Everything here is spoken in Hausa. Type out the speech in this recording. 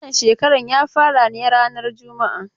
Wannan shekaran ya fara ne rana juma'a.